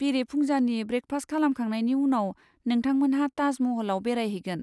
बेरेफुंजानि breakfast खालामखांनायनि उनाव, नोंथांमोनहा ताज महलआव बेरायहैगोन।